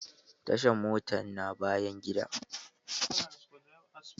Tashan motar na bayan gida na.